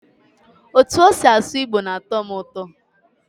Otú o si asụ igbo na-atọ m ụtọ.